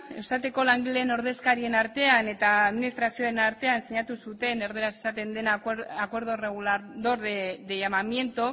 eustat eko langileen ordezkarien artean eta administrazioaren artean sinatu zuten erdaraz esaten dena acuerdo regulador de llamamiento